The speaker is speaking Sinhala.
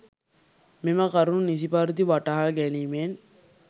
මෙම කරුණු නිසි පරිදි වටහා ගැනීමෙන්